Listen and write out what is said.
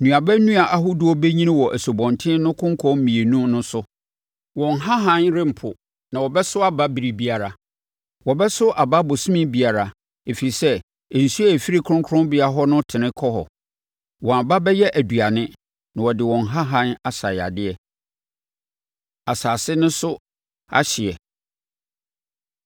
Nnuaba nnua ahodoɔ bɛnyini wɔ asubɔnten no konkɔn mmienu no so. Wɔn nhahan rempo, na wɔbɛso aba biribiara. Wɔbɛso aba ɔbosome biara, ɛfiri sɛ nsuo a ɛfiri kronkronbea hɔ no tene kɔ hɔ. Wɔn aba bɛyɛ aduane na wɔde wɔn nhahan asa yadeɛ.” Asase No So Ahyeɛ